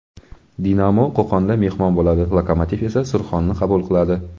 "Dinamo" Qo‘qonda mehmon bo‘ladi, "Lokomotiv" esa "Surxon"ni qabul qiladi.